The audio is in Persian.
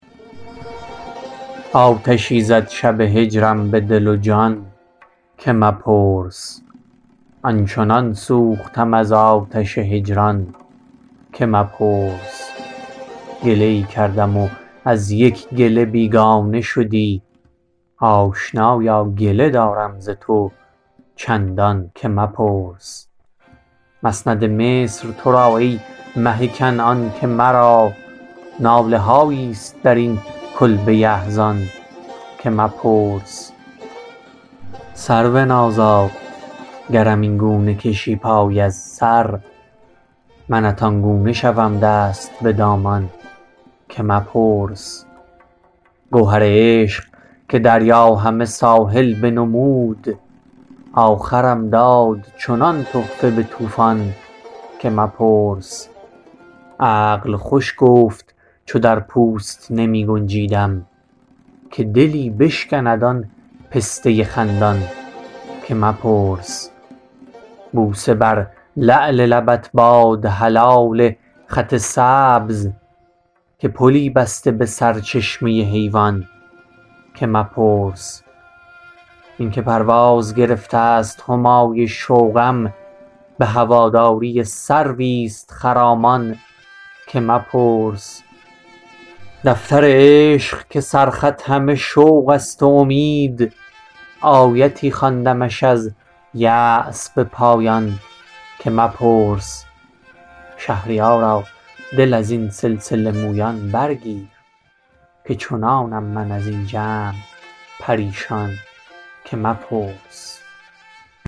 آتشی زد شب هجرم به دل و جان که مپرس آن چنان سوختم از آتش هجران که مپرس گله ای کردم و از یک گله بیگانه شدی آشنایا گله دارم ز تو چندان که مپرس مسند مصر ترا ای مه کنعان که مرا ناله هایی است در این کلبه احزان که مپرس سرونازا گرم اینگونه کشی پای از سر منت آنگونه شوم دست به دامان که مپرس گوهر عشق که دریا همه ساحل بنمود آخرم داد چنان تخته به طوفان که مپرس عقل خوش گفت چو در پوست نمی گنجیدم که دلی بشکند آن پسته خندان که مپرس بوسه بر لعل لبت باد حلال خط سبز که پلی بسته به سر چشمه حیوان که مپرس این که پرواز گرفته است همای شوقم به هواداری سرویست خرامان که مپرس دفتر عشق که سر خط همه شوق است و امید آیتی خواندمش از یاس به پایان که مپرس شهریارا دل از این سلسله مویان برگیر که چنانم من از این جمع پریشان که مپرس